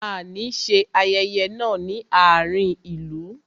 A ní ṣe ayẹyẹ náà ní àárín ìlú